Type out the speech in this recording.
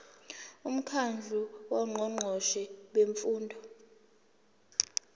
umkhandlu wongqongqoshe bemfundo